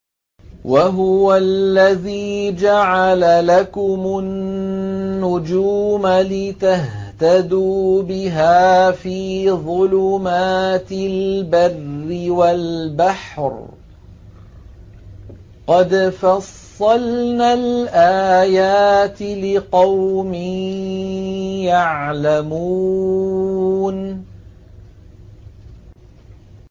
وَهُوَ الَّذِي جَعَلَ لَكُمُ النُّجُومَ لِتَهْتَدُوا بِهَا فِي ظُلُمَاتِ الْبَرِّ وَالْبَحْرِ ۗ قَدْ فَصَّلْنَا الْآيَاتِ لِقَوْمٍ يَعْلَمُونَ